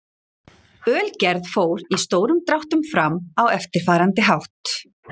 Ölgerð fór í stórum dráttum fram á eftirfarandi hátt.